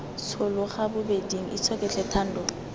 tshologa bobeding itshoke tlhe thando